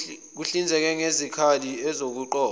kuhlinzekwe ngezikali zokuqopha